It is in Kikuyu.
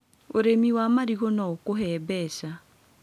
ũrĩmi wa marigũ no ũkũhe mbeca.